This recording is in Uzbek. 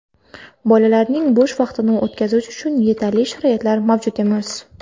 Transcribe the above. Bolalarning bo‘sh vaqtini o‘tkazish uchun yetarli sharoitlar mavjud emas.